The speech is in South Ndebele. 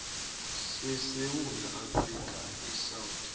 sesewula afrika isouth